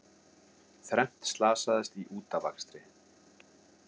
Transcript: Þrennt slasaðist í útafakstri